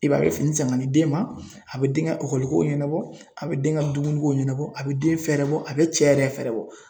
I b'a ye a bɛ fini san ka di den ma a bɛ den ka ɔkɔlikow ɲɛnabɔ a bɛ den ka dumunikow ɲɛnabɔ a bɛ den fɛɛrɛ bɔ a bɛ cɛ yɛrɛ fɛɛrɛ bɔ.